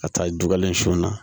Ka taa dugalen sun na